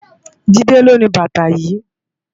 Jide ló ni bàtá yi